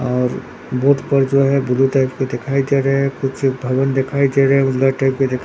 और बोट पर जो है ब्लू टाइप के दिखाई दे रहे है कुछ भवन दिखाई दे रहे है उजला टाइप के दिख --